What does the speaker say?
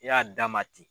I y'a d'a ma ten